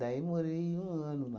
Daí eu morei um ano lá.